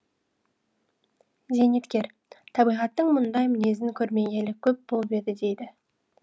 зейнеткер табиғаттың мұндай мінезін көрмегелі көп болып еді дейді